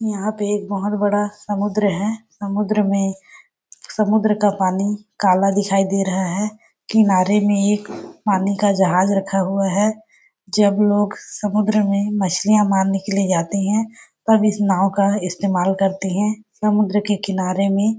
यहाँ पे एक बहुत बड़ा समुद्र है समुद्र में समुद्र का पानी काला दिखाई दे रहा है किनारे में एक पानी का जहाज रखा हुआ है जब लोग समुद्र में मछलियाँ मारने के लिए जाते है तब इस नांव का इस्तेमाल करती है समुद्र के किनारे में--